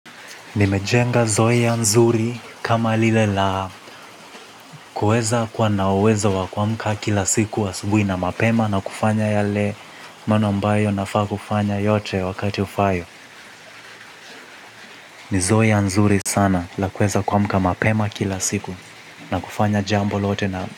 Nimejenga zoea nzuri kama lile la kueza kuwa na uwezo wa kuamka kila siku asubuhi na mapema na kufanya yale manwa ambayo nafaa kufanya yote wakati ufao. Ni zoea mzuri sana la kueza kuamka mapema kila siku na kufanya jambo lote na.